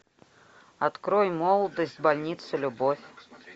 открой молодость больница любовь